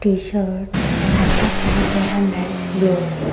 t-shirt and upper side there are lights blown.